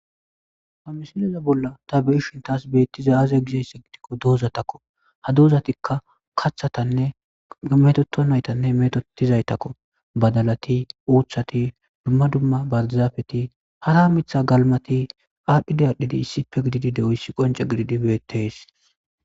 ha misileza bolla ta be7ishintas beettiza aze gizeysse gidikko doozatakko ha doozatikka kathatanne metoto naytanne metotizaytakko badalati oothati dumma dumma barzaafeti hara mitha galmati aadhdhidi adhdhidi issipe gididi de7oyssi qonce gididi beettees